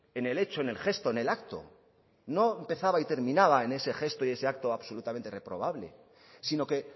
en el hecho en el gesto en el acto no empezaba y terminada en ese gesto y ese acto absolutamente reprobable sino que